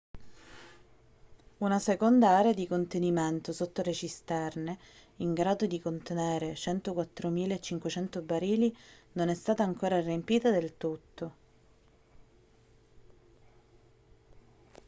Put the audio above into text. una seconda area di contenimento sotto le cisterne in grado di contenere 104.500 barili non è stata ancora riempita del tutto